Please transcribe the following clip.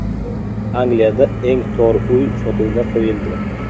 Angliyada eng tor uy sotuvga qo‘yildi.